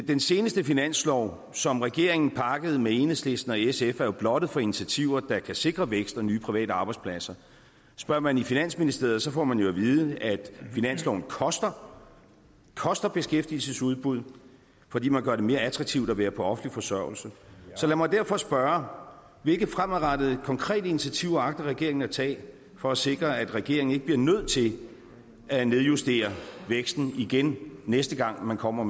den seneste finanslov som regeringen pakkede med enhedslisten og sf er jo blottet for initiativer der kan sikre vækst og nye private arbejdspladser spørger man i finansministeriet får man jo at vide at finansloven koster koster beskæftigelsesudbud fordi man gør det mere attraktivt at være på offentlig forsørgelse så lad mig derfor spørge hvilke fremadrettede konkrete initiativer agter regeringen at tage for at sikre at regeringen ikke bliver nødt til at nedjustere væksten igen næste gang man kommer